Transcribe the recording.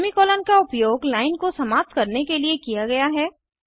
semicolon का उपयोग line को समाप्त करने के लिए किया गया है